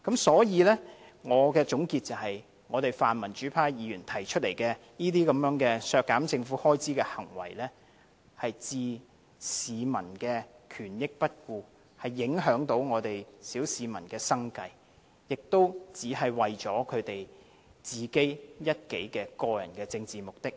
所以，我的總結是，泛民主派議員提出這類削減政府開支的行為，是置市民的權益於不顧，會影響我們小市民的生計，無非是為了他們個人的政治目的而已。